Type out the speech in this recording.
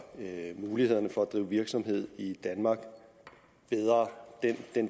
mulighederne for at drive virksomhed i danmark bedre